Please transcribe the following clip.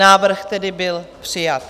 Návrh tedy byl přijat.